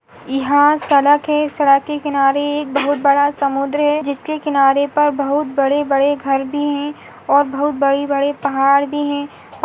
यहाँ सड़क है सड़क के किनारे एक बहुत बड़ा समुद्र है जिसके किनारे पर बहुत बड़े बड़े घर भी है और बहुत बड़े बड़े पहाड़ भी है और--